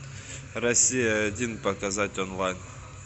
россия один показать онлайн